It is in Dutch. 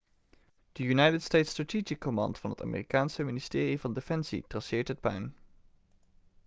de united states strategic command van het amerikaanse ministerie van defensie traceert het puin